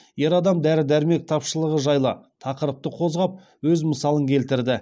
ер адам дәрі дәрмек тапшылығы жайлы тақырыпты қозғап өз мысалын келтірді